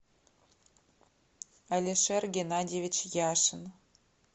алишер геннадьевич яшин